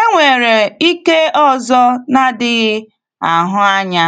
Enwere ike ọzọ na-adịghị ahụ anya